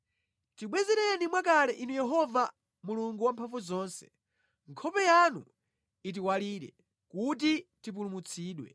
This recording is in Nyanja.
Tibwezereni mwakale Inu Yehova Mulungu Wamphamvuzonse nkhope yanu itiwalire kuti tipulumutsidwe.